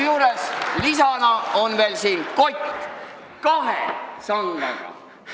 Ja lisaks on siin veel kott kahe sangaga.